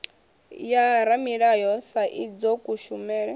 ya ramulayo sa idzwo kushumele